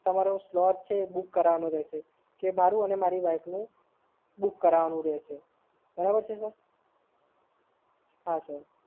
તમારે સ્વેપ છે એ બુક કરાવવાનું રહેશે કે મારી અને મારી વાઈફનું, બુક કરાવવાનું રહેશે બરાબર છે સર?